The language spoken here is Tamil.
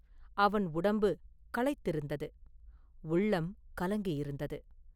அவன் உடம்பு களைத்திருந்தது; உள்ளம் கலங்கியிருந்தது.